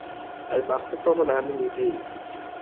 আর বাস্তব প্রমান আমি নিজেই.